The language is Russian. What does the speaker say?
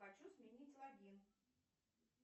хочу сменить логин